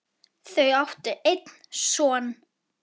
Þau áttu einn son.